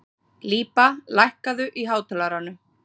Líba, lækkaðu í hátalaranum.